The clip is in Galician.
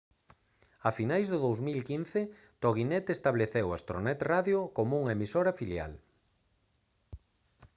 a finais do 2015 toginet estableceu astronet radio como unha emisora filial